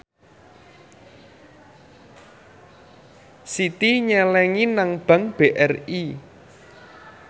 Siti nyelengi nang bank BRI